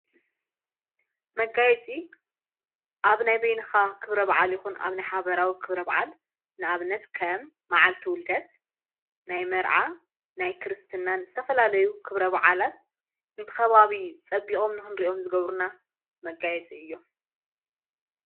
መጋየፂ ኣብ ናይ በይንኻ ኽብረ ብዓል ይኹን ኣብ ናይ ሓበራዊ ክብረ ብዓል ንኣብነት ከም መዓልቲ ውልደት ናይ መርዓ ናይ ክርስትናን ስተፈላለዩ ኽብረ ባዓላት እንተኸባብ ጸቢቖም ኖሆን ርእኦም ዝገብሩና መጋየፂ እዮም::